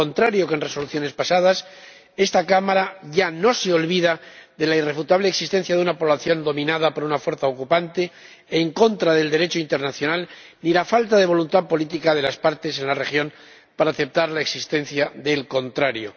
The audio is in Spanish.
Al contrario que en resoluciones pasadas, esta Cámara ya no se olvida de la irrefutable existencia de una población dominada por una fuerza ocupante, en contra del Derecho internacional, ni de la falta de voluntad política de las partes en la región para aceptar la existencia del contrario.